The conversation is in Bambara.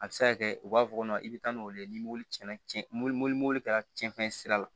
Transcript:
A bɛ se ka kɛ u b'a fɔ ko i bɛ taa n'olu ye ni mobili cɛnna mobili kɛra cɛncɛn sira la